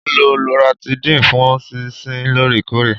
Mo ń lo Loratidine fún sísín lóòrèkóòrè.